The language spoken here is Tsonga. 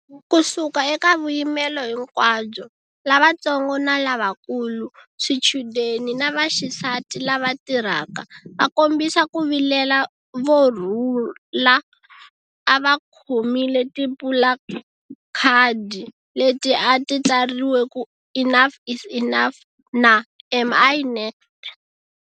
Ku suka eka vuyimelo hinkwabyo, lavantsongo na lavakulu, swichudeni na vaxisati lava tirhaka, vakombisa ku vilela vo rhula a va khomile tipulakhadi leti a ti tsariwile ku 'Enough is Enough ' na ' Am I next?'.